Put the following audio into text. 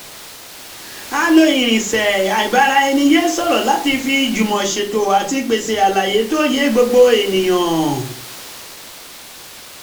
a lo irinṣẹ́ um ìbára-ẹni-sọ̀rọ̀ láti fi jùmọ̀ṣètò àti pèsè àlàyé tó ye gbogbo èèyàn